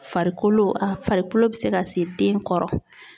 Farikolo a farikolo bɛ se ka se den kɔrɔ